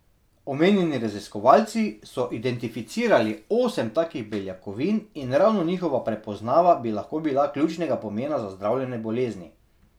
Omenjeni raziskovalci so identificirali osem takih beljakovin in ravno njihova prepoznava, bi lahko bila ključnega pomena za zdravljenje bolezni.